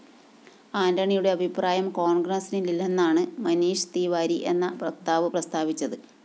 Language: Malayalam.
ആന്റണിയുടെ അഭിപ്രായം കോണ്‍ഗ്രസിനില്ലെന്നാണ് മനീഷ് തിവാരി എന്ന വക്താവ് പ്രസ്താവിച്ചത്